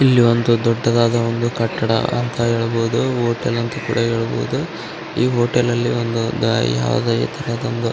ಇಲ್ಲಿ ಒಂದು ದೊಡ್ಡದಾದ ಒಂದು ಕಟ್ಟಡ ಅಂತ ಹೇಳ್ಬಹುದು ಹೋಟೆಲ್ ಅಂತ ಕೂಡ ಹೇಳ್ಬಹುದು ಈ ಹೋಟೆಲ್ ಅಲ್ಲಿ ಒಂದು ಯಾವಾಗ --